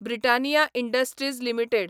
Britannia industries limited